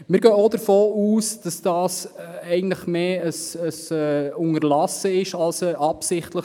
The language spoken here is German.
Wir gehen auch davon aus, dass es sich hier eher um eine zufällige Unterlassung handelt als um eine absichtliche.